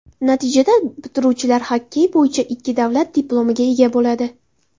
Natijada, bitiruvchilar xokkey bo‘yicha ikki davlat diplomiga ega bo‘ladi.